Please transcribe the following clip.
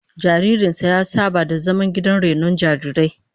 Jaririn ta ya saba da zaman gidan rainon jarirai